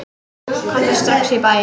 Komdu strax í bæinn.